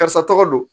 Karisa tɔgɔ don